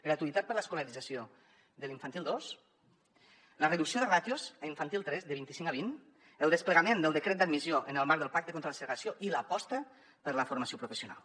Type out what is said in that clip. gratuïtat per l’escolarització de l’infantil dos la reducció de ràtios a infantil tres de vint i cinc a vint el desplegament del decret d’admissió en el marc del pacte contra la segregació i l’aposta per la formació professional